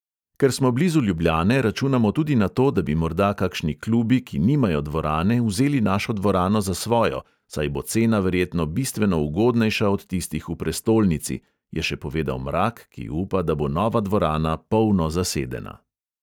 "Ker smo blizu ljubljane, računamo tudi na to, da bi morda kakšni klubi, ki nimajo dvorane, vzeli našo dvorano za svojo, saj bo cena verjetno bistveno ugodnejša od tistih v prestolnici," je še povedal mrak, ki upa, da bo nova dvorana polno zasedena.